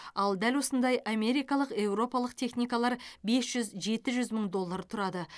ал дәл осындай америкалық еуропалық техникалар бес жүз жеті жүз мың доллар тұрады